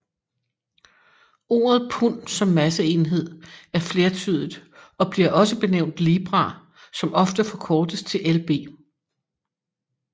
Ordet pund som masseenhed er flertydigt og bliver også benævnt libra som ofte forkortes til lb